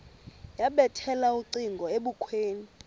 yabethela ucingo ebukhweni